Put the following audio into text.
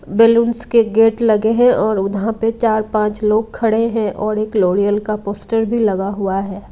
Balloons के gate लगे हैं और उधर पे चार-पांच लोग खड़े हैं और एक लोरियल का पोस्टर भी लगा हुआ है।